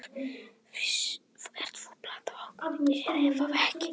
Þú ert að plata okkur, er það ekki?